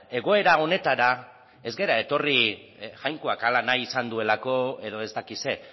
egoera honetara ez gara etorri jainkoak hala nahi izan duelako edo ez dakit zer